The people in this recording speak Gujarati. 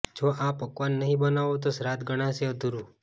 જો આ પકવાન નહી બનાવો તો શ્રાદ્ધ ગણાશે અધૂરૂ